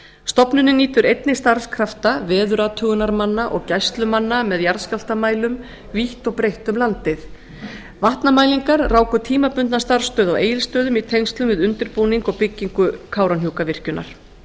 stofnunin nýtur einnig starfskrafta veðurathugunarmanna og gæslumanna með jarðskjálftamælum vítt og breitt um landið vatnamælingar ráku tímabundna starfsstöð á egilsstöðum í tengslum við undirbúning og byggingu kárahnjúkavirkjunar